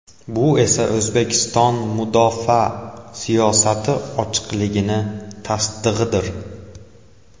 Bu esa O‘zbekiston mudofaa siyosati ochiqligining tasdig‘idir.